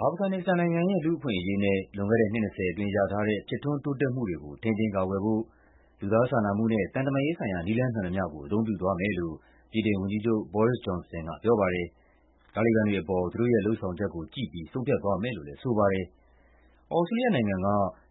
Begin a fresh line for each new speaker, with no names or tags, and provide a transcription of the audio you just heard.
အာဖဂန်နစ္စတန်နိုင်ငံရဲ့ လူ့အခွင့်အရေးနဲ့ လွန်ခဲ့တဲ့နှစ် ၂၀ အတွင်း ရထားတဲ့ ဖြစ်ထွန်းတိုးတက်မှုတွေကို ထိန်းသိမ်းကာကွယ်ဖို့ လူသားစာနာမှုနဲ့ သံတမန်ရေးဆိုင်ရာ နည်းလမ်းမှန်သမျှကို အသုံးပြုသွားမယ်လို့ ဗြိတိန်ဝန်ကြီးချုပ် Boris Johnson ကပြောပါတယ်။ တာလီဘန်တွေအပေါ် သူတို့ရဲ့လုပ်ဆောင်ချက်ကိုကြည့်ပြီး ဆုံးဖြတ်သွားမယ်လို့လည်း ဆိုပါတယ်။ သြစတြေးလျနိုင်ငံက